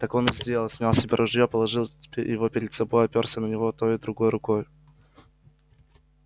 так он и сделал снял с себя ружье положил его перед собой оперся на него той и другой рукой